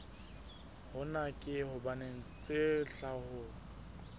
hona ke hobane tsa tlhaho